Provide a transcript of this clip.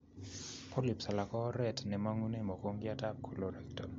Polyps alak ko oret nemangunee mogongiot ab colorectal